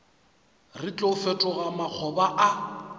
re tlo fetoga makgoba a